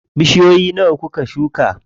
Bishiyoyi nawa kuka shuka?